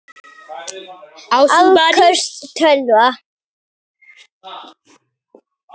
Afköst tölva